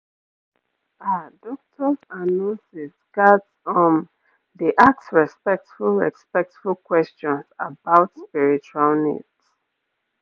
ah doctors and nurses ghats um dey ask respectful respectful questions about spiritual needs